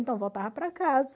Então, eu voltava para casa.